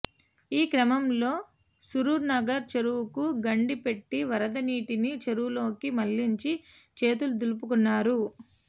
ఈ క్రమంలో సరూర్నగర్ చెరువుకు గండి పెట్టి వరదనీటిని చెరువులోకి మళ్లించి చేతులు దులుపుకున్నారు